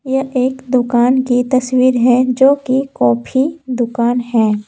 ये एक दुकान की तस्वीर है जो की कॉफ़ी दुकान है।